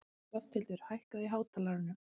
Lofthildur, hækkaðu í hátalaranum.